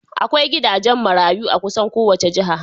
Akwai gidajen marayu a kusan kowace jiha.